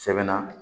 Sɛbɛn na